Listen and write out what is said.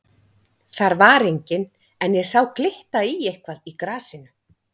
Þar var enginn en ég sá glitta í eitthvað í grasinu.